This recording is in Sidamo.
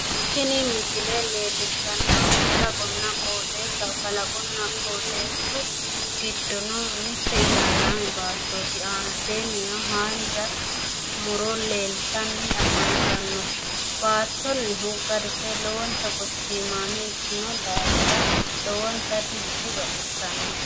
Tinni misile leelishanohu kalaqohonna qooxeessaho kalaqonna qooxeessu gidono mite ilaalaame baattoti aannaseennino haanja muro leeltanni afantano baattonnihu garise lowonta gatiimmame ikino daafira lowonta dibaxissano.